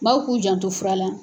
Baw k'u janto fura la.